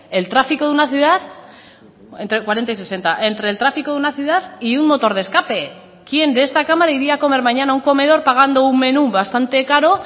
el tráfico de una ciudad entre cuarenta y sesenta entre el tráfico de una ciudad y un motor de escape quién de esta cámara iría a comer mañana a un comedor pagando un menú bastante caro